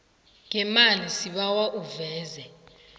ngemali sibawa uveze